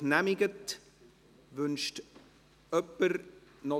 – Das ist nicht der Fall.